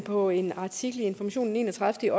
på en artikel i information den enogtredivete